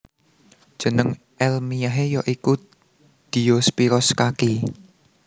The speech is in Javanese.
Jeneng èlmiyahé ya iku Diospyros kaki